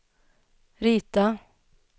rita